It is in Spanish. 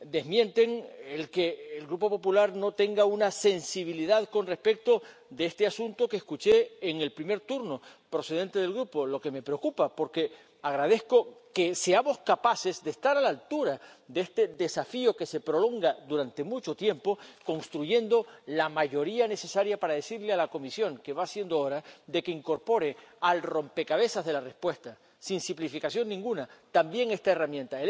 desmienten que el Grupo Popular no tenga una sensibilidad con respecto a este asunto —como escuché en el primer turno procedente del Grupo, lo que me preocupa—, y agradezco que seamos capaces de estar a la altura de este desafío que se prolonga durante mucho tiempo construyendo la mayoría necesaria para decirle a la Comisión que va siendo hora de que incorpore al rompecabezas de la respuesta, sin simplificación ninguna, también esta herramienta.